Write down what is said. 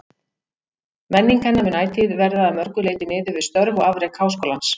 Menning hennar mun ætíð verða að mörgu leyti miðuð við störf og afrek Háskólans.